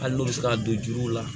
Hali n'u bɛ se ka don juru la